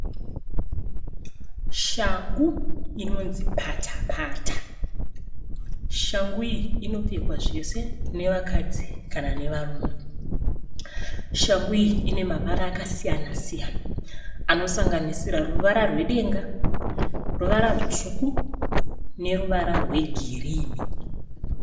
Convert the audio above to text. Shangu inonzi patapata. Shangu iyi inopfekwa zvese navakadzi kana nevarume. Shangu iyi ine mavara akasiyanasiyana anosanganisira ruvara rwedenga, ruvara rutsvuku neruvara rwegirini.